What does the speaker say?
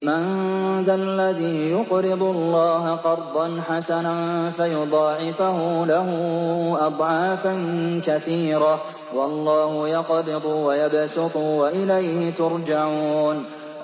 مَّن ذَا الَّذِي يُقْرِضُ اللَّهَ قَرْضًا حَسَنًا فَيُضَاعِفَهُ لَهُ أَضْعَافًا كَثِيرَةً ۚ وَاللَّهُ يَقْبِضُ وَيَبْسُطُ وَإِلَيْهِ تُرْجَعُونَ